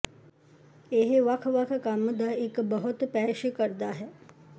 ਇਹ ਵੱਖ ਵੱਖ ਕੰਮ ਦਾ ਇੱਕ ਬਹੁਤ ਪੇਸ਼ ਕਰਦਾ ਹੈ